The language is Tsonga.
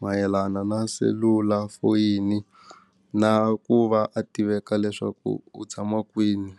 mayelana na selulafoyini na ku va a tiveka leswaku u tshama kwini.